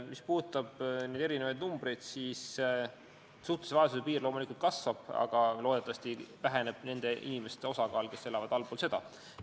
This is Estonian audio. Mis puudutab erinevaid numbreid, siis suhtelise vaesuse piir liigub loomulikult ülespoole, aga loodetavasti väheneb nende inimeste osakaal, kes elavad allpool seda piiri.